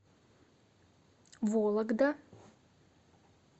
вологда